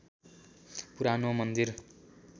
पुरानो मन्दिर